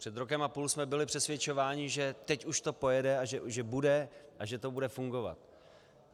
Před rokem a půl jsme byli přesvědčováni, že teď už to pojede a že bude a že to bude fungovat.